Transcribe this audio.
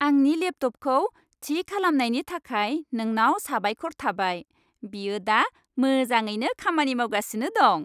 आंनि लेपटपखौ थि खालामनायनि थाखाय नोंनाव साबायखर थाबाय। बेयो दा मोजाङैनो खामानि मावगासिनो दं।